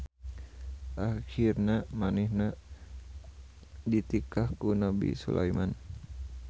Ahirna manehna ditikah ku Nabi Sulaeman.